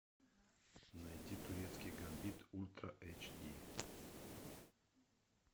найди турецкий гамбит ультра эйч ди